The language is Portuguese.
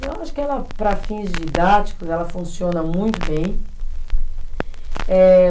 Eu acho que ela, para fins didáticos, ela funciona muito bem. Eh